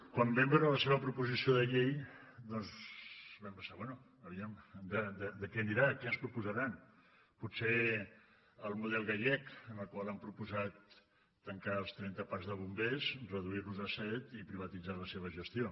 quan vam veure la seva proposició de llei doncs vam pensar bé a veure e què anirà què ens proposaran potser el model gallec en el qual han proposat tancar els trenta parcs de bombers reduir los a set i privatitzar la seva gestió